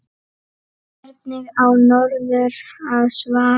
Hvernig á norður að svara?